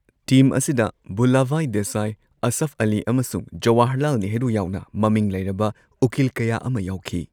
Team ꯑꯁꯤꯗ ꯚꯨꯂꯥꯚꯥꯏ ꯗꯦꯁꯥꯏ, ꯑꯁꯐ ꯑꯂꯤ ꯑꯃꯁꯨꯡ ꯖꯋꯥꯍꯔꯂꯥꯜ ꯅꯦꯍꯔꯨ ꯌꯥꯎꯅ ꯃꯃꯤꯡ ꯂꯩꯔꯕ ꯎꯀꯤꯜ ꯀꯌꯥ ꯑꯃ ꯌꯥꯎꯈꯤ꯫